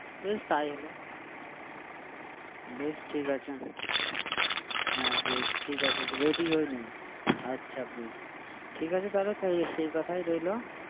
বেশ তাই হলো কাজ পড়েছে আমার একটা কাজ পড়েছে দাদা বেশ ঠিক আছে আমি উঠবো ঠিক আছে তুই রেডি হয়ে নে আচ্ছা বেশ হ্যাঁ সেই কোথায় রইলো